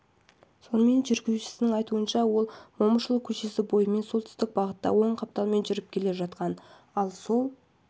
сонымен жүргізушісінің айтуынша ол момышұлы көшесі бойымен солтүстік бағытта оң қапталмен жүріп келе жатқан ал сол